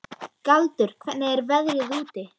Galdur, hvernig er veðrið úti?